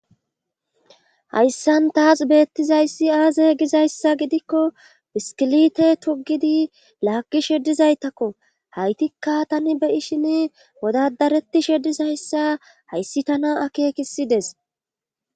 hayssan taas beettizayssi aaze gizayssa gidikko biskilite tugidi laakki sheddizaytakko haytikka tani beyi shin wodadareti sheddizayssa hayssi tana akeekisides